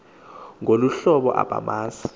ngolu hlobo abamazi